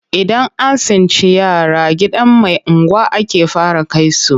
Idan an tsinci yara gidan mai unguwa ake fara kai su,